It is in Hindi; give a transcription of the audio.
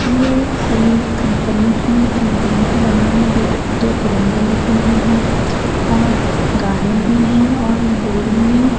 ये कोई कंपनी है कंपनी के बाहर में जो दो तिरंगे लगे हुए हैं और गार्डन भी है और बिल्डिंग में--